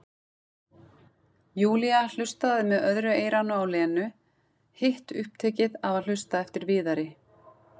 Júlía hlustandi með öðru eyranu á Lenu, hitt upptekið af að hlusta eftir Viðari.